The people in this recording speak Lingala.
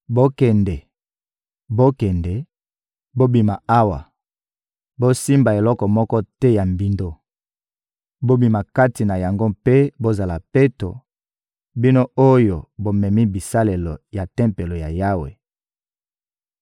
Bokende, bokende, bobima awa! Bosimba eloko moko te ya mbindo! Bobima kati na yango mpe bozala peto, bino oyo bomemi bisalelo ya Tempelo ya Yawe!